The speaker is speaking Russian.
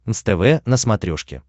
нств на смотрешке